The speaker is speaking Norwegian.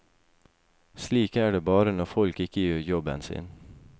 Slik er det bare når folk ikke gjør jobben sin.